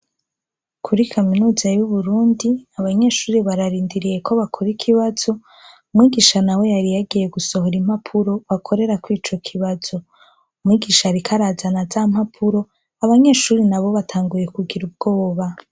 Kuri kaminuza y'Uburundi abanyeshure bararindiriye ko bakora ikibazo, umwigisha nawe yari yagiye gusohora impapuro bakorerako ico kibazo. Umwigisha ariko arazana za mpapuro, abanyeshure nabo batanguye kugira ubwoba.